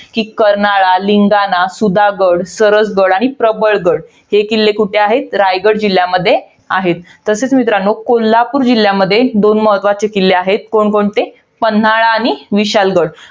कि, कर्नाळा, लिंगाणा, सुधागड, सरसगड आणि प्रबळ गड. हे किल्ले कुठे आहे? रायगड जिल्ह्यामध्ये आहेत. तसेच मित्रांनो, कोल्हापूर जिल्ह्यमध्ये दोन महत्वाचे किल्ले आहेत. कोणकोणते? पन्हाळा आणि विशाळगड.